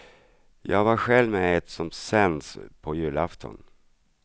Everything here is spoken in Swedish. Jag var själv med i ett som sänds på julafton.